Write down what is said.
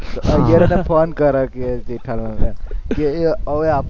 Iyer phone કરે કે જેઠાલાલને કે હવે આપું?